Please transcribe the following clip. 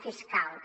fiscals